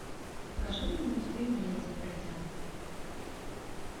покажи мне мультфильм леди и бродяга